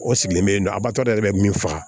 O sigilen don abada yɛrɛ bɛ min faga